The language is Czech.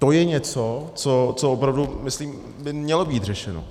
To je něco, co opravdu, myslím, by mělo být řešeno.